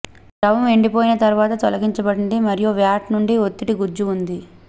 ద్రవం ఎండిపోయిన తర్వాత తొలగించబడింది మరియు వ్యాట్ నుండి ఒత్తిడి గుజ్జు ఉంది